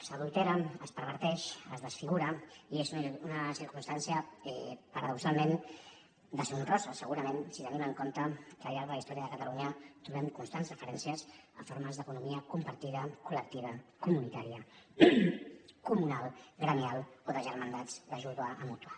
s’adultera es perverteix es desfigura i és una circumstància paradoxalment deshonrosa segurament si tenim en compte que al llarg de la història de catalunya trobem constants referències a formes d’economia compartida col·lectiva comunitària comunal gremial o de germandats d’ajuda mútua